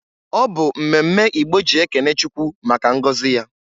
Ọbụ mmemme Igbo ji ekene Chukwu maka ngozi ya.